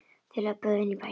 Þeir löbbuðu inn í bæinn.